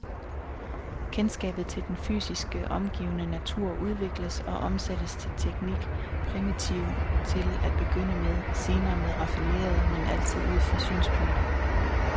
Kendskabet til den fysisk omgivende natur udvikles og omsættes til teknik, primitiv til at begynde med, senere mere raffineret, men altid ud fra synspunktet.